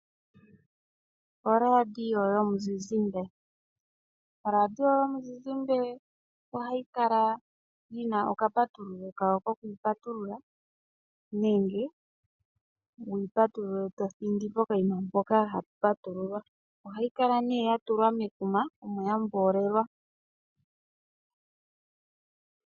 ORadio yomuzizimbe ohayi kala yi na okapatululo kayo kokupatulula nenge wu yi patulule to thindi pokanima mpoka ha pu patululwa. Ohayi kala nee ya tulwa mekuma omo ya mboolelwa.